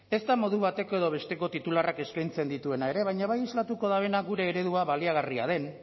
ezta modu bateko edo besteko titularrak eskaintzen dituena ere baina bai islatuko duena gure eredua baliagarria den